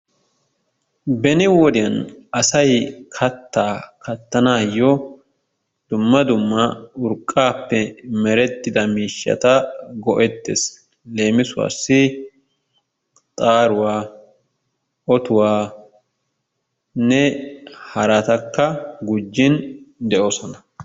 Beni wodiyan asay kattaa kattanaayyo dumma dumma urqqaappe merettida miishshata go'ettees. Leemisuwassi xaaruwa, otuwanne haraatakka gujjin de'oosona.